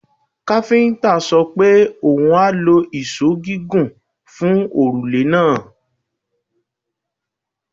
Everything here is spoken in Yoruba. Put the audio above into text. Káfíńńtà sọ pe oun a lo ìṣó gígùn fun òrùlé náà.